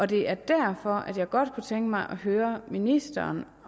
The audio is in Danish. det er derfor at jeg godt kunne tænke mig at høre ministeren